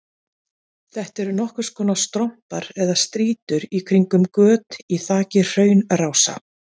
Þetta eru nokkurs konar strompar eða strýtur í kringum göt í þaki hraunrása.